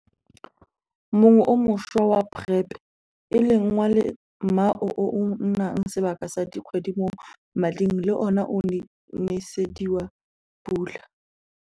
mongwe o montšhwa wa PrEP - e leng wa lemao o o nnang sebaka sa dikgwedi mo mading le ona o nesediwe pula.